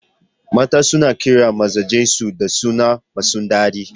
Mata suna kiran mazajan su da sunaye masu daɗi.